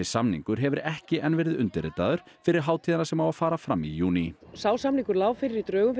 samningur hefur ekki enn verið undirritaður fyrir hátíðina sem á að fara fram í júní sá samningur lá fyrir í drögum